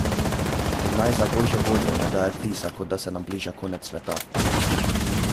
In naj, za božjo voljo, ne daje vtisa, kot da se nam bliža konec sveta.